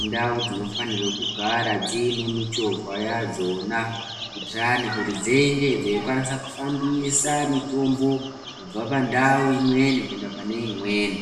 indau dzinofanirwe kugara dziine michovha yadzona, kuitirani kuti dzinge dzichikwanisa kufambisa mitombo kubva pandau imweni kuenda pane imweni.